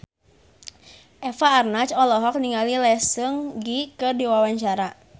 Eva Arnaz olohok ningali Lee Seung Gi keur diwawancara